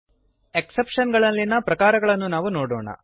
exceptions ಗಳಲ್ಲಿಯ ಪ್ರಕಾರಗಳನ್ನು ನಾವು ನೋಡೋಣ